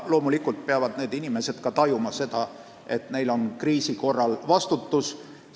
Loomulikult peavad need inimesed tajuma, et neil on kriisi korral vastutus.